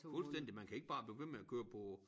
Fuldstændig man kan ikke bare blive ved med at køre på